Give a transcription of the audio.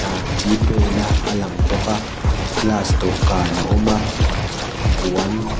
aa g pay na a lang bawk a glass dawhkan a awm a aah puan--